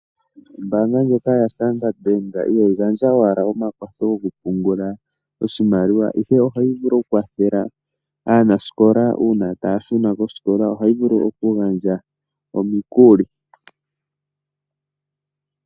Ombaanga ndjoka yaStandard Bank ihayi gandja owala omakwatho gokupungula oshimaliwa ihe ohayi vulu okukwathela aanasikola uuna taya shuna kosikola. Ohayi vulu okugandja omikuli.